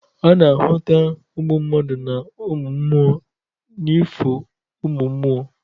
A na-ahụta uMụ mmadụ na uMụ mMụo n'ifo uMụmMụo.